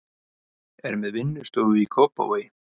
Er með vinnustofu í Kópavogi.